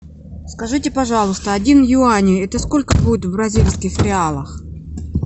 скажите пожалуйста один юань это сколько будет в бразильских реалах